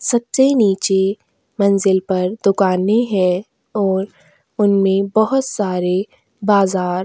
सबसे नीचे मंजिल पर दुकाने है और उनमें बहुत सारे बाजार --